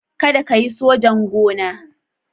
Kada ka yi sojan gona.